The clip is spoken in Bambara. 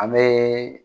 An bɛ